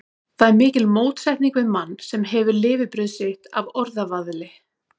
Það er mikil mótsetning við mann, sem hefur lifibrauð sitt af orðavaðli.